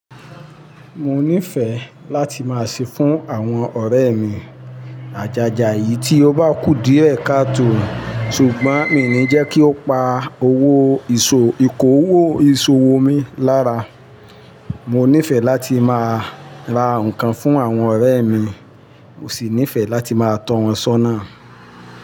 Mo nífẹ̀ẹ́ láti máa ṣe fún àwọn ọ̀rẹ́ mi àjàjà yìí tí ó bá kù díẹ̀ ká tó. Ṣùgbọ́n, mi ò ní jẹ́ kí ó pa owó ìṣòwò mi lára. Mo nífẹ̀ẹ́ láti máa ra nǹkan fún àwọn ọ̀rẹ́ mi, ò sì nífẹ̀ẹ́ láti máa tọ̀ wọ́n ṣọ́nà.